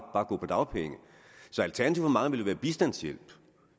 gå på dagpenge så alternativet for mange vil være bistandshjælp